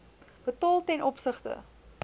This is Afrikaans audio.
betaal ten opsigte